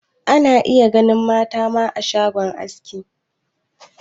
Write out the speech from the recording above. Ana iya ganin mata ma a shagon aski.